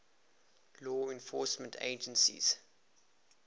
law enforcement agencies